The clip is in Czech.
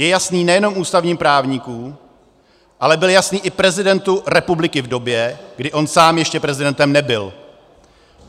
Je jasný nejenom ústavním právníkům, ale byl jasný i prezidentu republiky v době, kdy on sám ještě prezidentem nebyl.